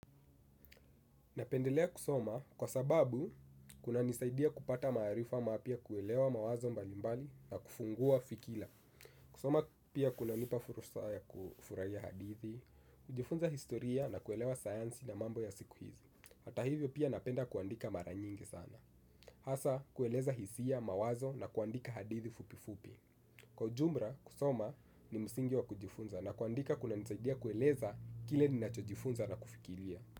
Napendelea kusoma kwa sababu kunanisaidia kupata maarifa mapya kuelewa mawazo mbalimbali na kufungua fikira. Kusoma pia kunanipa fursa ya kufurahia hadithi, kujifunza historia na kuelewa sayansi na mambo ya siku hizi. Hata hivyo pia napenda kuandika mara nyingi sana. Hasa kueleza hisia, mawazo na kuandika hadithi fupi fupi. Kwa ujumla kusoma ni msingi wa kujifunza na kuandika kunanisaidia kueleza kile ni nacho jifunza na kufikiria.